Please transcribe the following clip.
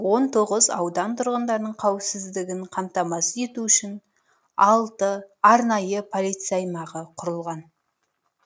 он тоғыз аудан тұрғындарының қауіпсіздігін қамтамасыз ету үшін алты арнайы полиция аймағы құрылған